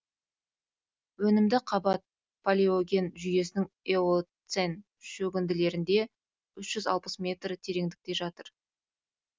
өнімді қабат палеоген жүйесінің эоцен шөгінділерінде үш жүз алпыс метр тереңдікте жатыр